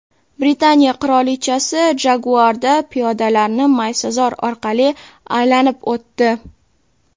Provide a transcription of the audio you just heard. Britaniya qirolichasi Jaguar’da piyodalarni maysazor orqali aylanib o‘tdi.